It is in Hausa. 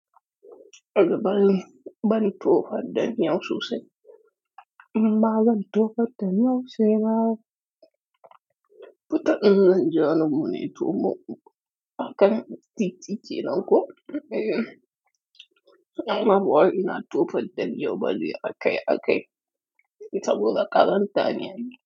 A'a ban, ban tofar da miyau sosai. Ma zan tofar da miyau sai ma. Fita in zanje wani gune to akan titi kenan ko? Eh. Kuma bawai ina tofar da miyau bane a kai a kai, saboda ƙazanta ne ai.